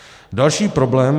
Další problém.